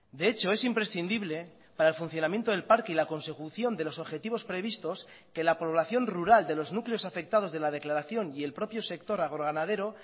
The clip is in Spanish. de hecho es imprescindible para el funcionamiento del parque y la consecución de los objetivos previstos que la población rural de los núcleos afectados de la declaración y el propio sector agroganadero